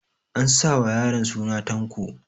An sa wa yaron suna Tanko